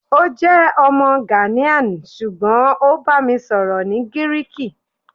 o jẹ ọmọ Ghanian ṣugbọn o ba mi sọrọ ni Giriki